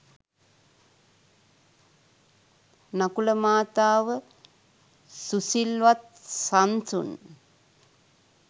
නකුල මාතාව සුසිල්වත්, සන්සුන්